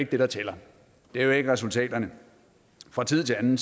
det der tæller det er jo ikke resultaterne fra tid til anden